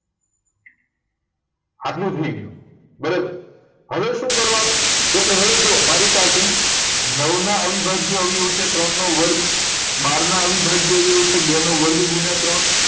આટલું થઇ ગયું બરાબર હવે શું કરવા નું તો કે હવે જો મારી પાસે નવ નાં અવિભાજ્ય અવયવી ઓ છે ત્રણ નો વર્ગ બાર નાં અવિભાજ્ય અવય્વીઓ છે બે નો વર્ગ ગુણ્યા ત્રણ